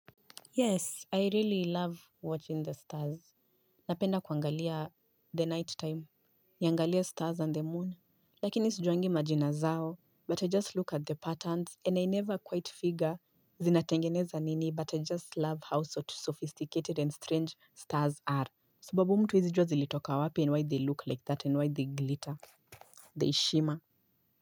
Yes I really love watching the stars. Napenda kuangalia the night time. Niangalie stars and the moon. Lakini sijuangi majina zao. But I just look at the patterns and I never quite figure. Zinatengeneza nini but I just love how so sophisticated and strange stars are. Sababu mtu haezi jua zilitoka wapi and why they look like that and why they glitter. They shimmer.